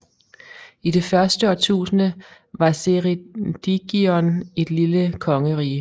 I det første årtusinde var Ceredigion et lille kongerige